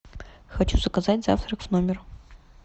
хочу заказать завтрак в номер